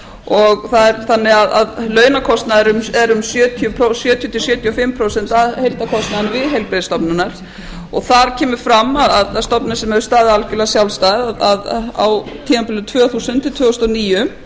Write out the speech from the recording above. og það er þannig að launakostnaðurinn er um sjötíu til sjötíu og fimm prósent af heildarkostnaðinum við heilbrigðisstofnunina og þar kemur fram að stofnun sem hefur staðið algjörlega sjálfstæð á tímabilinu tvö þúsund til tvö þúsund og níu